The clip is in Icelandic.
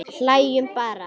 Hlæjum bara.